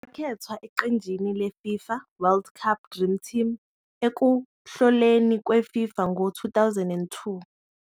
Wakhethwa eqenjini le-FIFA World Cup Dream Team ekuhloleni kwe- FIFA ngo-2002.